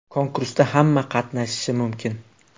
Konkursda hamma qatnashishi mumkin.